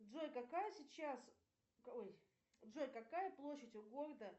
джой какая сейчас ой джой какая площадь у города